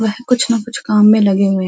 वह कुछ न कुछ काम में लगे हुए हैं।